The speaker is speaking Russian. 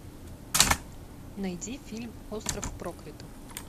найди фильм остров проклятых